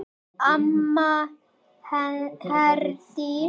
Amma Herdís.